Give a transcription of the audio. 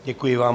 Děkuji vám.